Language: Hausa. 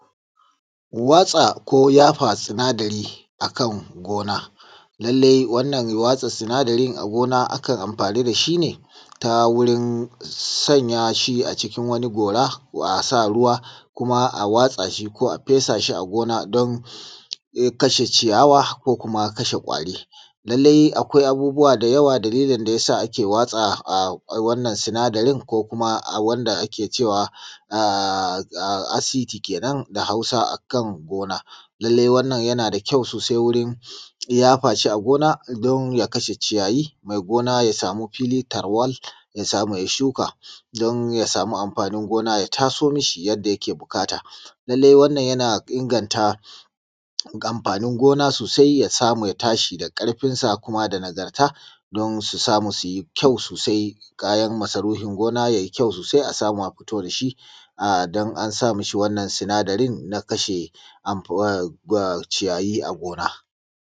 Watsa ko yafa sinadari akan gona Lallai watsa sanadirin a gona akan shi ne ta wurin sanya shi a cikin gora a sa ruwa kuma a watsa shi ko a fesa a gona don kashe ciyarwa ko kuma kashe ƙwari. Lallai akwai abubuwa da yawa dalilin da yasa ake watsa wannan sinadarin ko kuma wanda ake cewa asidi kenan a Hausa a kan gona .wannan yana da ƙyau sosai wajen yafa shi a a gona don ya kashe ciyayi mai gona ya sama fili tar wal ya samu ya yi shuka don ya samu amfani ya taso mashi yadda ake buƙata. Lallai wannan yana inganta amfanin gona sai ya samu ya tashi da ƙarfinsa kuma da nagarta don su samu su yi ƙyau sosai .kayan masarufin gona yai ƙyau sosai sai a samu a fito da shi don an sa mashi wannan sinadarin na kashe ciyayi a gona.